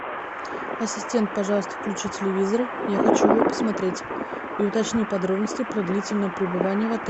ассистент пожалуйста включи телевизор я хочу его посмотреть и уточни подробности про длительное пребывание в отеле